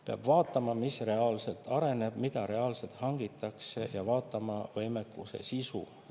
Peab vaatama, mis reaalselt areneb, mida reaalselt hangitakse, ja vaatama võime sisu.